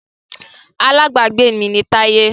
Alábágbé mi ni Táyé